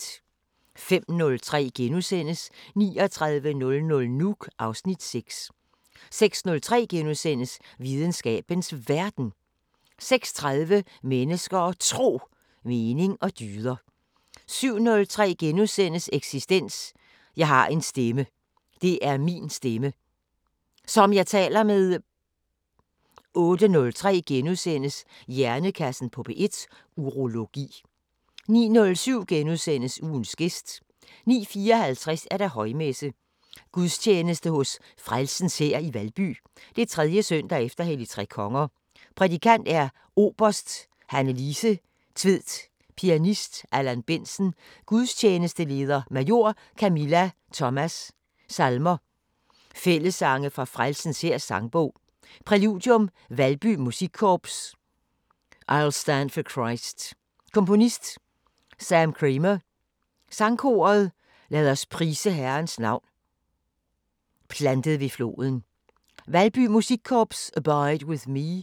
05:03: 3900 Nuuk (Afs. 6)* 06:03: Videnskabens Verden * 06:30: Mennesker og Tro: Mening og dyder 07:03: Eksistens: Jeg har en stemme. Det er min stemme. Som jeg taler med. * 08:03: Hjernekassen på P1: Urologi * 09:07: Ugens gæst * 09:54: Højmesse - Gudstjeneste hos Frelsens Hær, Valby. 3. søndag efter Helligtrekonger Prædikant: Oberst Hannelise Tvedt Pianist: Allan Bendtsen Gudstjenesteleder: Major Camilla Thomas Salmer: Fællessange fra Frelsens Hærs Sangbog. Præludium Valby musikkorps "I'll Stand for Christ". Komponist: Sam Creamer Sangkoret "Lad os prise Herrens navn" "Plantet ved floden" Valby musikkorps "Abide with Me"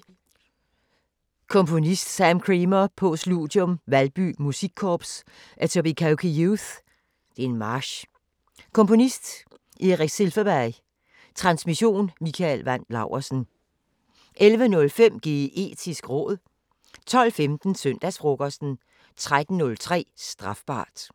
Komponist: Sam Creamer Postludium Valby musikkorps "Etobicoke Youth" (March) Komponist: Erik Silfverberg. Transmission: Mikael Wandt Laursen. 11:05: Geetisk råd 12:15: Søndagsfrokosten 13:03: Strafbart